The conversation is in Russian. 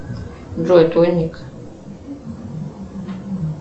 джой твой ник